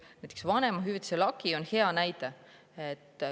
Vanemahüvitise lagi on hea näide.